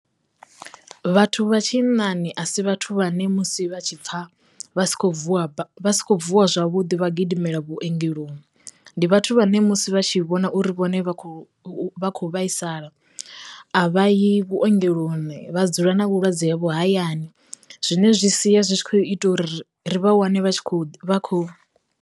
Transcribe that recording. Vhathu vha tshinnani a si vhathu vhane musi vha tshi pfa vha si khou vuwa vha si khou vuwa zwavhuḓi vha gidimela vhuongeloni, ndi vhathu vhane musi vha tshi vhona uri vhone vha khou vha kho vhaisala a vha yi vhuongeloni vha dzula na vhulwadze havho hayani, zwine zwi sia zwi tshi kho ita uri ri ri vha wane vha tshi kho vha khou.